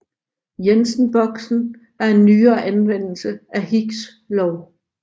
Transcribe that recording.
Jensen boksen er en nyere anvendelse af Hicks lov